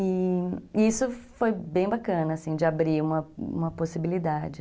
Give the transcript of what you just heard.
E isso foi bem bacana, assim, de abrir uma possibilidade.